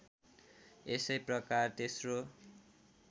यसै प्रकार तेस्रो